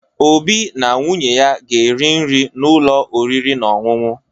Obi na nwunye ya ga-eri nri n’ụlọ oriri na ọṅụṅụ.